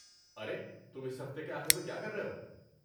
ارے، تم اس ہفتے کے آخر میں کیا کر رہے ہو؟